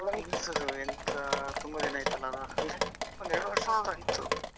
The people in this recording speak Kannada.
ನಾನ್ ಎನಿಸುವುದು ಎಂತ ತುಂಬಾ ದಿನ ಆಯ್ತಲ್ಲಾ ಅಂದ್ರೆ ಒಂದೆರಡು ವರ್ಷ ಆದರು ಆಯ್ತು.